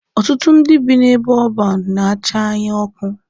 Ọtụtụ ndị bi n'ebe ọban na-acha anya ọkụ.